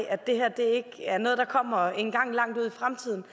det er noget der kommer engang langt ud i fremtiden